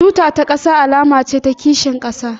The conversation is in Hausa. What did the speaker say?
Tuta ta ƙasa alama ce ta kishin ƙasa